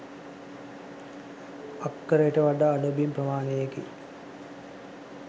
අක්කරට වඩා අඩු බිම් ප්‍රමාණයකි.